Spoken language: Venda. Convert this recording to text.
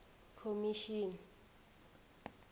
khomishini